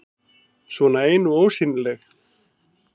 Svona ein og ósýnileg.